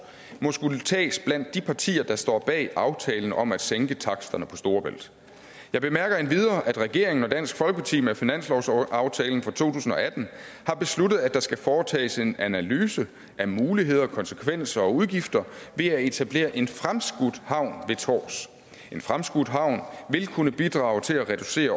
må skulle tages blandt de partier der står bag aftalen om at sænke taksterne over storebælt jeg bemærker endvidere at regeringen og dansk folkeparti med finanslovsaftalen for to tusind og atten har besluttet at der skal foretages en analyse af muligheder konsekvenser og udgifter ved at etablere en fremskudt havn ved tårs en fremskudt havn vil kunne bidrage til at reducere